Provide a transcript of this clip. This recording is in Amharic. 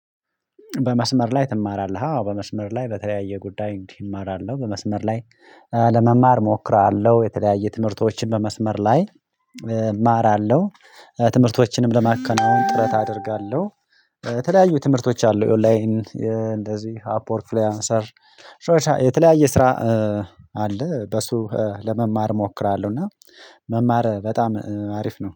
በመስመር ላይ ትማራለህ? አዎ በመስመር ላይ በተለያየ ጉዳይ እንዲህ እማራለሁ በመስመር ላይ ለመማር እሞክራለሁ የተለያየ ትምህርቶችን በመስመር ላይ እማራለሁ። ትምህርቶችንም ለማከናወን ጥረት አደርጋለሁ። የተለያዩ ትምህርቶች አሉ ኦንላይን እንደዚህ አፕዎርክ ፍሉያንሰር። የተለያየ ስራ አለ በሱ ለመማር እሞክራለሁ። እና መማር በጣም አሪፍ ነው